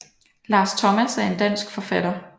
Lars Thomas er en dansk forfatter